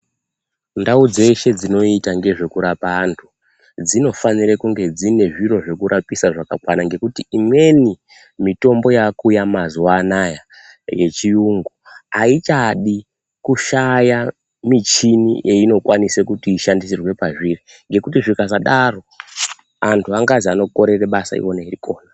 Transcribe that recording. Ndau dzeshe dzinoita ngezvekurapa anthu, dzinofanire kunge dzine zviro zvekurapisa zvakakwana. Ngekuti imweni mitombo yaakuuya mazuwa ana a yechiyungu, aichadi kushaya michhini yeinokwanisa kuti ishandisirwe pezviri, ngekuti zvikasadaro anthu angazwi anokorere basa iwona eirikona.